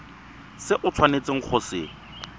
se o tshwanetseng go se